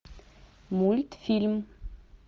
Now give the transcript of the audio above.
мультфильм